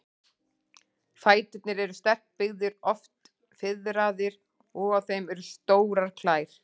Fæturnir eru sterkbyggðir, oft fiðraðir, og á þeim eru stórar klær.